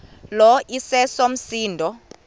lo iseso msindo